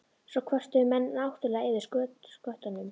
Svo kvörtuðu menn náttúrlega yfir sköttunum.